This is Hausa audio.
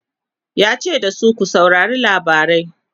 yace da su "ku saurari labarai!